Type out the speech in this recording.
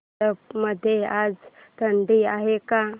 झारप मध्ये आज थंडी आहे का